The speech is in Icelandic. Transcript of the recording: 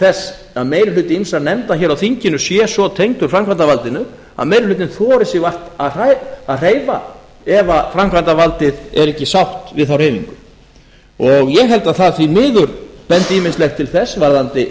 þess að meiri hluti ýmissa nefnda hér á þinginu sé svo tengdur framkvæmdarvaldinu að meiri hlutinn þori sig vart að hreyfa ef framkvæmdarvaldið er ekki sátt við þá hreyfingu ég held að því miður bendi ýmislegt til þess varðandi